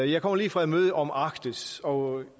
jeg kommer lige fra et møde om arktis og